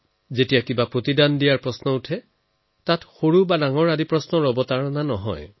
যেতিয়া কিবা ওভতাই দিয়াৰ কথা আহে তেতিয়া একোৱেই ডাঙৰ বা সৰু নহয়